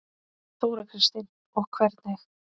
Þóra Kristín: Og hvernig?